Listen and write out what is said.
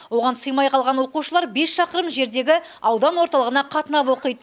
оған сыймай қалған оқушылар бес шақырым жердегі аудан орталығына қатынап оқиды